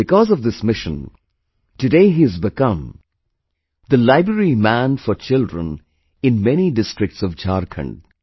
Because of this mission, today he has become the 'Library Man' for children in many districts of Jharkhand